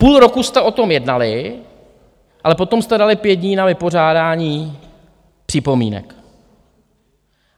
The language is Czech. Půl roku jste o tom jednali, ale potom jste dali pět dní na vypořádání připomínek.